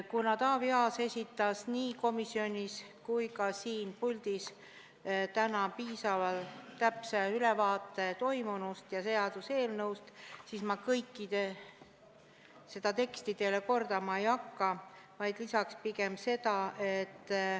Kuna Taavi Aas esitas nii komisjonis kui ka siin puldis täna piisavalt täpse ülevaate toimunust ja seaduseelnõust, siis ma kogu teksti teile kordama ei hakka.